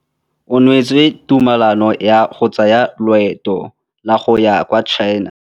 O neetswe tumalanô ya go tsaya loetô la go ya kwa China.